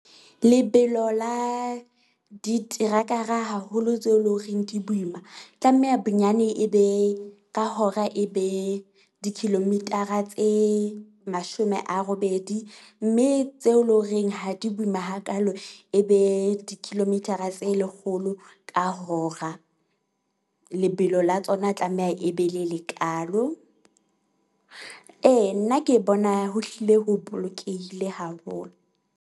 Lebelo la diterakara haholo tseo e leng horeng di boima tlameha bonyane e be ka hora e be di-kilometer-a tse mashome a robedi. Mme tseo e leng horeng ha di boima hakalo e be di-kilometer-a tse lekgolo ka hora. Lebelo la tsona tlameha e be le lekaalo. E nna ke bona ho hlile ho bolokehile haholo.